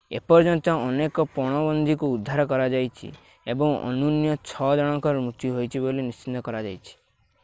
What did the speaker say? ଏପର୍ଯ୍ୟନ୍ତ ଅନେକ ପଣବନ୍ଦୀଙ୍କୁ ଉଦ୍ଧାର କରାଯାଇଛି ଏବଂ ଅନ୍ୟୁନ ଛ ଜଣଙ୍କର ମୃତ୍ୟୁ ହୋଇଛି ବୋଲି ନିଶ୍ଚିତ କରାଯାଇଛି